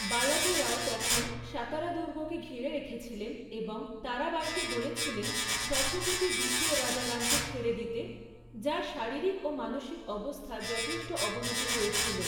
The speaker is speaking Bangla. বালাজী রাও তখন সাতারা দুর্গকে ঘিরে রেখেছিলেন এবং তারাবাঈকে বলেছিলেন ছত্রপতি দ্বিতীয় রাজারামকে ছেড়ে দিতে, যাঁর শারীরিক ও মানসিক অবস্থার যথেষ্ট অবনতি হয়েছিল।